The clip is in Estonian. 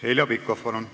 Heljo Pikhof, palun!